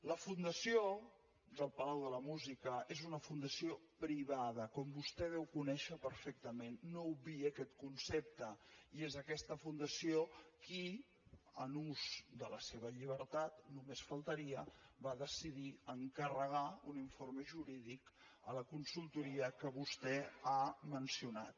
la fundació del palau de la música és una fundació privada com vostè deu conèixer perfectament no obviï aquest concepte i és aquesta fundació qui en ús de la seva llibertat només faltaria va decidir encarregar un informe jurídic a la consultoria que vostè ha mencionat